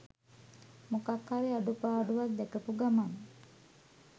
මොකක් හරි අඩුපාඩුවක් දැකපු ගමන්